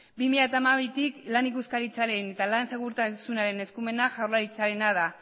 bi mila hamabitik lan ikuskaritzaren y lan segurtasunaren eskumenak jaurlaritzarena da